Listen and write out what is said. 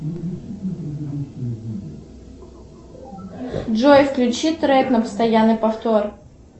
джой включи трек на постоянный повтор